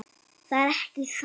Það er ekki satt.